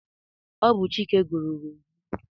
Ọ bụ Chike gụrụ Roju.